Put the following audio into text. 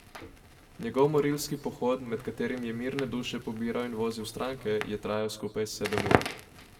Njegov morilski pohod, med katerim je mirne duše pobiral in vozil stranke, je trajal skupaj sedem ur.